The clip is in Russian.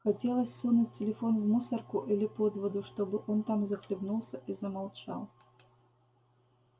хотелось сунуть телефон в мусорку или под воду чтобы он там захлебнулся и замолчал